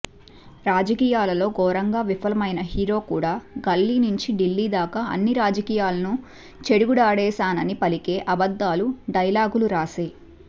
రాజకీయాలలో ఘోరంగా విఫలమైన హీరో కూడా గల్లీనుంచి ఢిల్లీ దాకా అన్ని రాజకీయాలనూ చెడుగుడాడేసానని పలికే అబద్దాల డైలాగులు రాసే